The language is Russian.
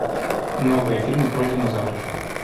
новые фильмы про динозавров